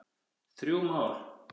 Þrjú mál